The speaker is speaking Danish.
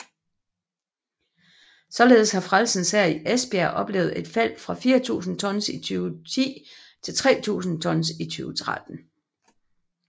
Således har Frelsens Hær i Esbjerg oplevet et fald fra 4000 tons i 2010 til 3000 tons i 2013